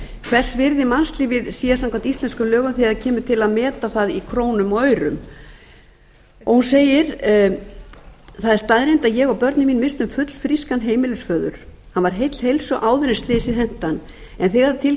hvers virði er mannslífið samkvæmt íslenskum lögum þegar til þess kemur að meta það í krónum og aurum hún segir það er staðreynd að ég og börnin misstum fullfrískan heimilisföður hann var heill heilsu áður en slysið henti hann en þegar til þess